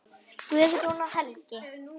Guðrún og Helgi.